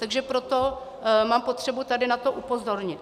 Takže proto mám potřebu tady na to upozornit.